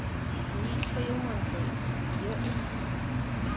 leitlho yo montle yo ene